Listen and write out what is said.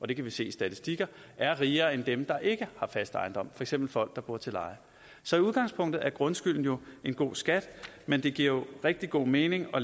det kan vi se i statistikker er rigere end dem der ikke har fast ejendom for eksempel folk der bor til leje så i udgangspunktet er grundskylden jo en god skat men det giver rigtig god mening at